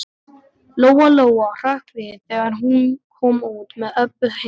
Lóa Lóa hrökk við þegar hún kom út með Öbbu hina.